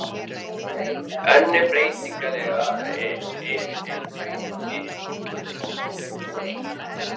Önnur breytingatillaga er um að kaupa skip úr eik.